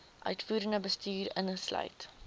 uitvoerende bestuur insluit